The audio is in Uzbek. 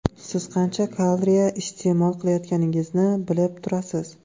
Siz qancha kalriya iste’mol qilayotganingizni bilib turasiz.